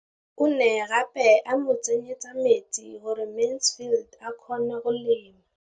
O ne gape a mo tsenyetsa metsi gore Mansfield a kgone go lema.